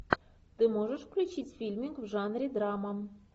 ты можешь включить фильмик в жанре драма